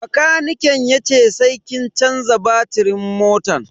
Bakaniken yace sai kin canza batirin motan.